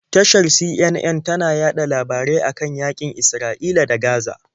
Tashar CNN tana yaɗa labarai a kan yaƙin Isra'ila da Gaza.